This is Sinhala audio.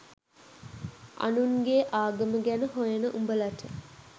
අනුන්ගේ ආගම ගැන හොයන උඹලට